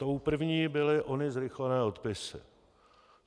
Tou první byly ony zrychlené odpisy.